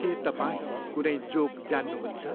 के तपाईँ कुनै जोक जान्नुहुन्छ?